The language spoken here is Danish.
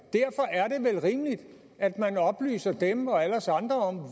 det vel rimeligt at man oplyser dem og alle os andre om